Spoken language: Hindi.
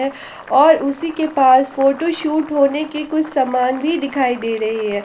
और उसी के पास फोटो शूट होने की कुछ सामान भी दिखाई दे रहे है।